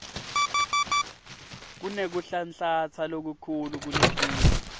kunekuhlanhlatsa lokukhulu kuletinye